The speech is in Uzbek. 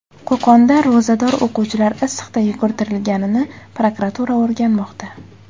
Qo‘qonda ro‘zador o‘quvchilar issiqda yugurtirilganini prokuratura o‘rganmoqda.